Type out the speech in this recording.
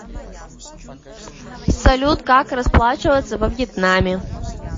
салют как расплачиваться во вьетнаме